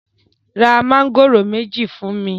ra Mángòrò méjì fún mí!